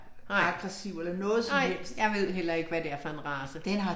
Nej, nej, jeg ved heller ikke hvad det er for en race